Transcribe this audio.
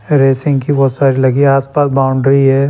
Racing की बहुत सारी लगी आसपास बाउंड्री है।